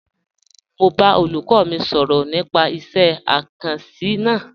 Mọ̀ n bá olúkọ́ mi sọrọ̀ nípà ìṣẹ̀ àkànsí náà.